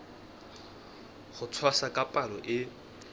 ho tshwasa ka palo e